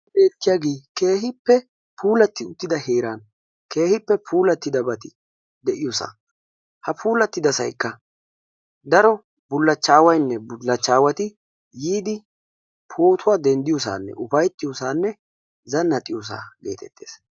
Beettiyaage keehippe puulatti uttida heeran keehippe puulattidabati de'iyoosa. Ha puulattidasaykka daro bullachchaawayinne bullachchaawati yiidi pootuwa dendiyoosaanne upayittiyoosaanne zannaxiyoosaa geetettes.